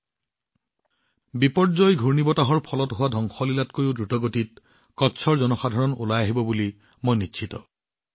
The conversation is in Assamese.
মোৰ বিশ্বাস বিপৰ্যয় ঘূৰ্ণীবতাহৰ ফলত যি ধ্বংসলীলা চলালে কচ্চৰ জনসাধাৰণৰ ক্ষিপ্ৰতাৰে সেয়া পুনৰুদ্ধাৰ কৰিব